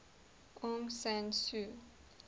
aung san suu